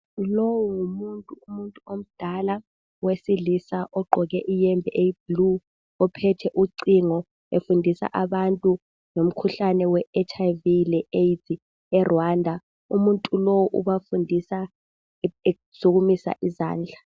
Lowu ngumuntu, umuntu omdala wesilisa ogqoke iyembe eyi"blue",ophethe ucingo efundisa abantu ngomkhuhlane weHIV leAIDS eRwanda. Umuntu lo ubafundisa esukumisa izandla